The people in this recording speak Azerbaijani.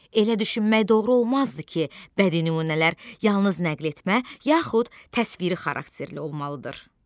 Elə düşünmək doğru olmazdı ki, bədii nümunələr yalnız nəql etmə, yaxud təsviri xarakterli olmalıdır.